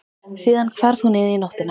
Síðan hvarf hún inn í nóttina.